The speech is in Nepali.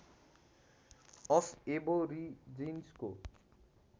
अफ ऐबोरिजिन्सको